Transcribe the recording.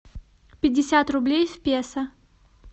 пятьдесят рублей в песо